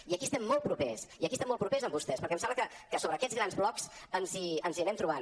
i aquí estem molt propers i aquí estem molt propers amb vostès perquè em sembla que sobre aquests grans blocs ens hi anem trobant